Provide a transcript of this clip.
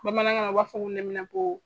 Bamanankan na u b'a fɔ ko neminɛnpo.